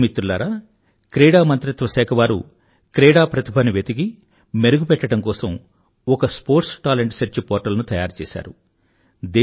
యువ మిత్రులారా క్రీడామంత్రిత్వశాఖ వారు క్రీడా ప్రతిభను వెతికి మెరుగుపెట్టడం కోసం ఒక స్పోర్ట్స్ టాలెంట్ సెర్చ్ పోర్టల్ ను తయారుచేశారు